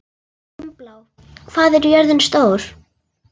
Dimmblá, hvað er jörðin stór?